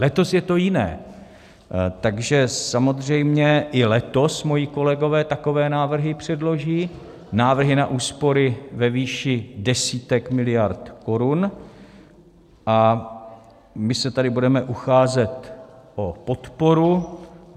Letos je to jiné, takže samozřejmě i letos moji kolegové takové návrhy předloží, návrhy na úspory ve výši desítek miliard korun, a my se tady budeme ucházet o podporu.